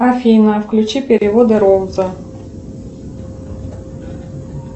афина включи переводы роуза